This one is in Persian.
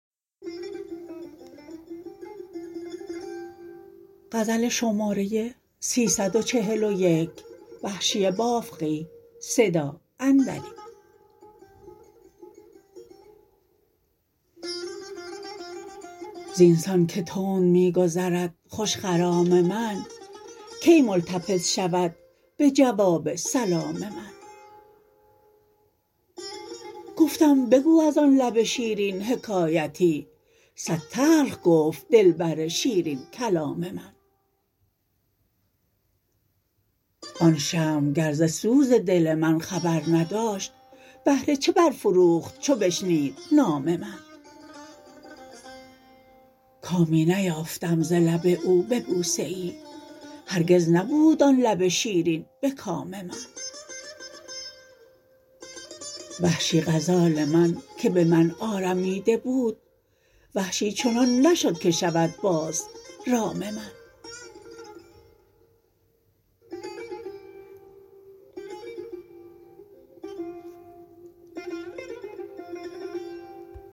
زین سان که تند می گذرد خوش خرام من کی ملتفت شود به جواب سلام من گفتم بگو از آن لب شیرین حکایتی سد تلخ گفت دلبر شیرین کلام من آن شمع گر ز سوز دل من خبر نداشت بهر چه برفروخت چو بشنید نام من کامی نیافتم ز لب او به بوسه ای هرگز نبود آن لب شیرین به کام من وحشی غزال من که به من آرمیده بود وحشی چنان نشد که شود باز رام من